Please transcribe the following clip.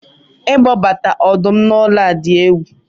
ịkpọbata ọdụm na ụlọ dị egwu